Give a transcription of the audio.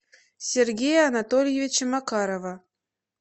сергея анатольевича макарова